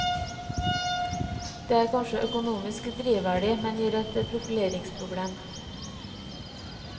Det er kanskje økonomisk drivverdig, men gir et profileringsproblem.